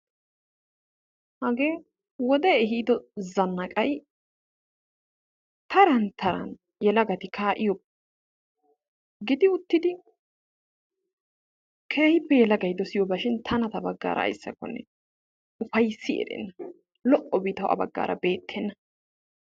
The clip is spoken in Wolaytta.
Hage wode ehido zannaqqay tarn taran yelagati kaa'iyaaba gidi uttidi keehippe yelagay dossiyoobashin tana ta baggaara ayssakkone upayssiberenna, lo"obi taw a baggaara beettena.